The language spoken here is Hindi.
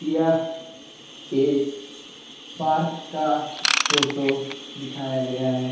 यह एक पार्क का फोटो दिखाया गया है।